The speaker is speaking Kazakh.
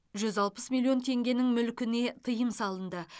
жүз алпыс миллион теңгенің мүлкіне тыйым салынды